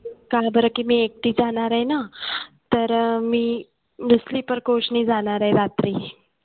का बरं की मी एकटी जाणार आहे ना तर मी sleeper coach ने जाणार आहे रात्री